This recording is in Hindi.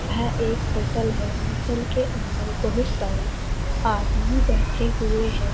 यह एक होटल है होटल के अंदर बहुत सारे आदमी बैठे हुए हैं।